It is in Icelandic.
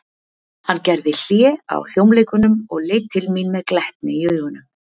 Hann gerði hlé á hljómleikunum og leit til mín með glettni í augunum.